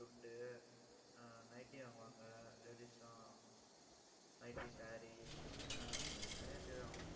துண்டு ஆஹ் nightly வாங்குவாங்க, ladies எல்லாம் nighty, saree ஆஹ் நிறைய sale ஆகும்.